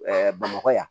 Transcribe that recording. bamakɔ yan